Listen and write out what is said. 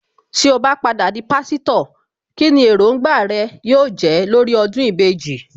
Tí ó bá padà di Pásítọ̀, kíni Èròǹgbà rẹ yóò jẹ́ lórí ọdún ìbejì